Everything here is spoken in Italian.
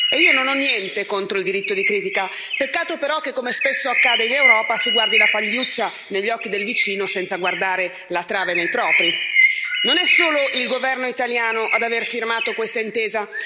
Io non ho niente contro il diritto di critica, peccato però che, come spesso accade in Europa, si guardi la pagliuzza negli occhi del vicino senza guardare la trave nei propri. Non è solo il governo italiano ad aver firmato questa intesa.